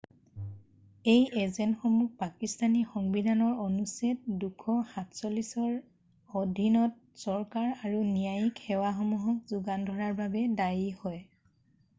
এই এজেন্টসমূহ পাকিস্থানী সংবিধানৰ অনুচ্ছেদ 247 ৰ অধীনত চৰকাৰ আৰু ন্যায়িক সেৱাসমূহক যোগান ধৰাৰ বাবে দায়ী হয়৷